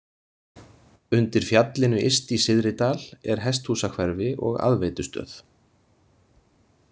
Undir fjallinu yst í Syðridal er hesthúsahverfi og aðveitustöð.